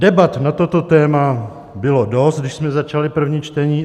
Debat na toto téma bylo dost, když jsme začali první čtení.